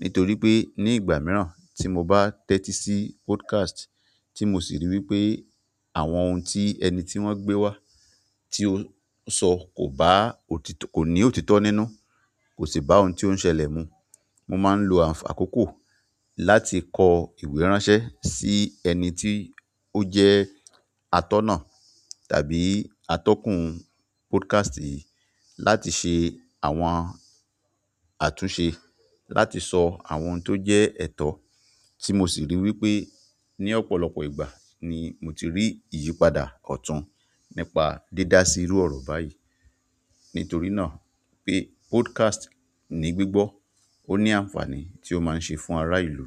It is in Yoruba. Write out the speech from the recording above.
Nítorí pé ní ìgbà mìíràn tí mo bá tẹ́tí sí podcast tí mo sì rí wípé àwọn ohun tí ẹni tí wón gbé wá tí ó ń sọ kò bá òtítọ́, kò ní òtítọ́ nínú, kò sì bá ohun tí ó ń ṣẹlẹ̀ mu. Mo máa ń lo akókò láti kọ ìwé ránṣẹ́ sí ẹni tí ó jẹ́ atọ́ná tàbí atọ́kùn podcast yìí láti ṣe. Àwọn àtúnṣe láti sọ àwọn ohun ti o jẹ ẹtọ ti mo si ri wípé ni ọ̀pọ̀lọpọ̀ ìgbà ni mo ti ri iyipada ọtun nípa di da si iru ọrọ bayi. Nítorí náà pé podcast ní gbígbọ́, ó ní àǹfàní tí ó máa ń ṣe fún ará ìlú.